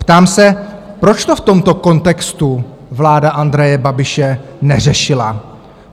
Ptám se, proč to v tomto kontextu vláda Andreje Babiše neřešila?